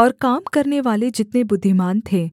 और काम करनेवाले जितने बुद्धिमान थे